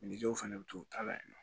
Minniw fɛnɛ bɛ to u ta la yen nɔ